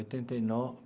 Oitenta e